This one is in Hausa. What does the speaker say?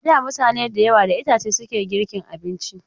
A da mutane da yawa da itace suke girkin abinci.